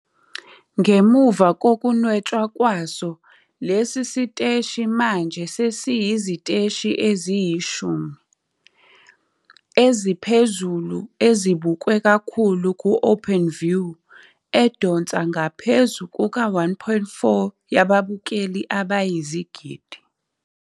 Ngemuva kokunwetshwa kwaso, lesi siteshi manje sesiyiziteshi eziyi-10 eziphezulu ezibukwe kakhulu ku-Openview edonsa ngaphezu kuka-1.4. ababukeli abayizigidi.